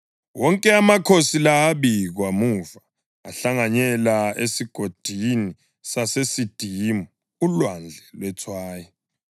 Wonke amakhosi la abikwe muva ahlanganyela eSigodini saseSidimu (uLwandle lweTswayi).